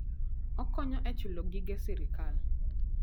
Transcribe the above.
Okonyo e chulo gige sirkal.